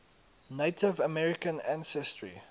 native american ancestry